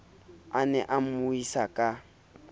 a ne a mmuisa ka